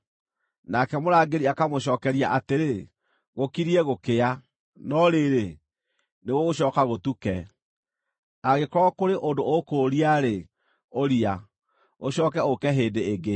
Nake mũrangĩri akamũcookeria atĩrĩ, “Gũkiriĩ gũkĩa, no rĩrĩ, nĩgũgũcooka gũtuke. Angĩkorwo kũrĩ ũndũ ũkũũria-rĩ, ũria; ũcooke ũũke hĩndĩ ĩngĩ.”